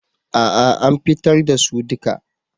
A'a an fitar da su duka.